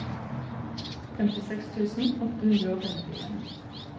femtiseks tusen åtte hundre og femtien